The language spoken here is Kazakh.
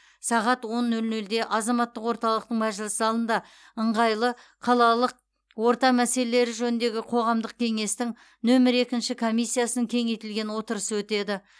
сағат он нөл нөлде азаматтық орталықтың мәжіліс залында ыңғайлы қалалық орта мәселелері жөніндегі қоғамдық кеңестің нөмір екі комиссиясының кеңейтілген отырысы өтеді